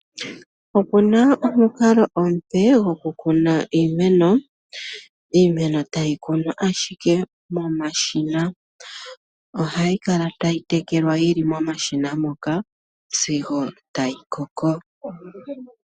Opu na omukalo omupe gokukuna iimeno. Iimeno tayi kunwa ashike momashina. Ohayi kala tayi tekelwa yi li momashina moka sigo tayi koko.